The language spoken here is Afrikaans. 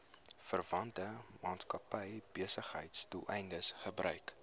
verwante maatskappybesigheidsdoeleindes gebruik